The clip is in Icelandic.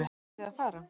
Eruð þið að fara?